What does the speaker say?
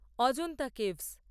Ajanta caves